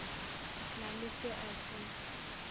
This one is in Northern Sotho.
na le se a se